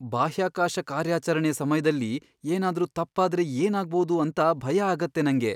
ಬಾಹ್ಯಾಕಾಶ ಕಾರ್ಯಾಚರಣೆಯ ಸಮಯ್ದಲ್ಲಿ ಏನಾದ್ರೂ ತಪ್ಪಾದ್ರೆ ಏನಾಗ್ಬೋದು ಅಂತ ಭಯ ಆಗತ್ತೆ ನಂಗೆ.